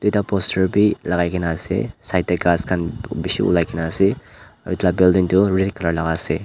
Ekta poster bhi lagaikena ase side dae ghas khan beshi ulaikena ase aro etu la building tuh red colour laga ase.